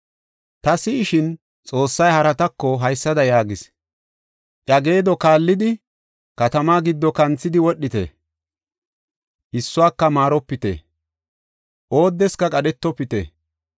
Ta si7ishin, Xoossay haratako haysada yaagis: “Iya geedo kaallidi, katamaa giddo kanthidi wodhite. Issuwaka maaropite; oodeska qadhetofite.